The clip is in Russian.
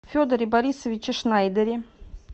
федоре борисовиче шнайдере